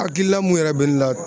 Hakilina mun yɛrɛ bɛ ne la.